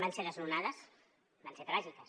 van ser desnonades van ser tràgiques